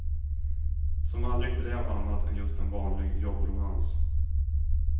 Som aldrig blev annat än just en vanlig jobbromans.